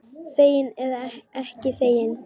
Þegin eða ekki þegin.